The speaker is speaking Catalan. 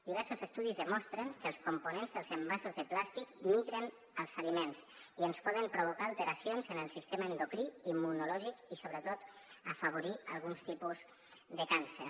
diversos estudis demostren que els components dels envasos de plàstic migren als aliments i ens poden provocar alteracions en els sistemes endocrí i immunològic i sobretot afavorir alguns tipus de càncer